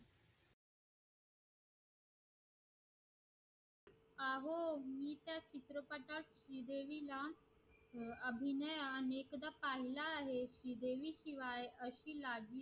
अहो मी त्या चित्रपटात श्रीदेवीला अभिनयाने खूपदा पाहिलं आहे श्री देवी शिवाय अशी